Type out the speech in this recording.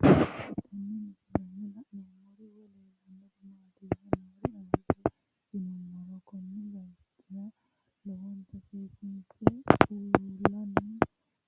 Tenne misilenni la'nanniri woy leellannori maattiya noori amadde yinummoro kunni bayiichchonno lowontta seessinse uulanni